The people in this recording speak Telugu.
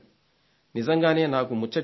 నిజంగానే నాకు ముచ్చటేసింది